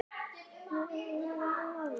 Það voru góðir dagar.